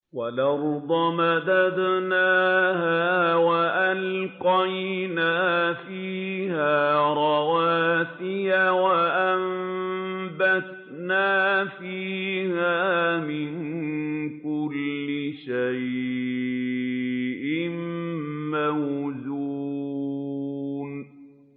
وَالْأَرْضَ مَدَدْنَاهَا وَأَلْقَيْنَا فِيهَا رَوَاسِيَ وَأَنبَتْنَا فِيهَا مِن كُلِّ شَيْءٍ مَّوْزُونٍ